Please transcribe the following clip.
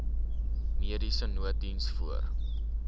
mediese nooddiens voor